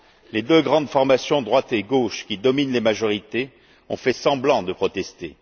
Les deux grandes formations droite et gauche, qui dominent les majorités, ont fait semblant de protester.